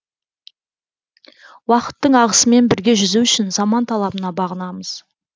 уақыттың ағысымен бірге жүзу үшін заман талабына бағынамыз